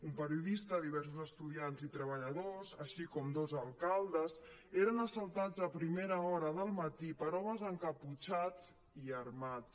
un periodista diversos estudiants i treballadors així com dos alcaldes eren as·saltats a primera hora del matí per homes encaputxats i armats